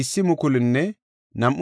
Binuya yarati 648;